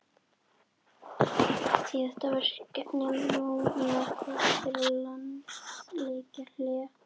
Síðasta verkefni Mónakó fyrir landsleikjahlé?